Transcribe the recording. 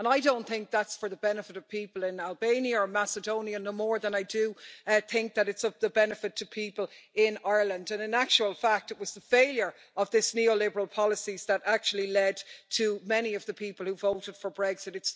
And I don't think that's for the benefit of people in Albania or Macedonia, no more than I think that it is of the benefit to people in Ireland. In actual fact it was the failure of these neoliberal policies that actually led to many of the people who voted for Brexit.